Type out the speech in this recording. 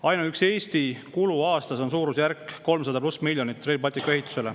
Ainuüksi Eesti kulu Rail Balticu ehitusele on aastas suurusjärgus 300+ miljonit.